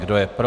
Kdo je pro?